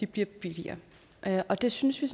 bliver billigere det synes vi